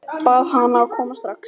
Bað hana að koma strax.